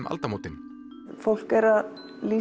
aldamótin fólk er að